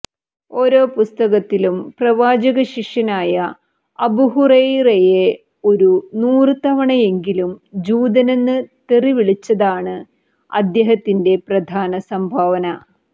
ഓരോ പുസ്തകത്തിലും പ്രവാചകശിഷ്യനായ അബൂഹുറയ്റയെ ഒരു നൂറ് തവണയെങ്കിലും ജൂതനെന്ന് തെറി വിളിച്ചതാണ് അദ്ദേഹത്തിന്റെ പ്രധാന സംഭാവന